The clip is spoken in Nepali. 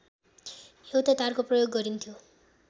एउटै तारको प्रयोग गरिन्थ्यो